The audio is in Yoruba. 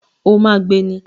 O ma gbé ní